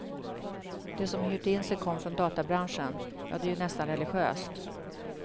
De som hyrt in sig kom från databranschen, ja det är ju nästan religiöst.